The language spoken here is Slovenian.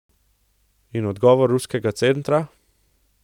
In odgovor ruskega centra?